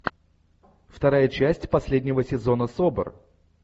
вторая часть последнего сезона собр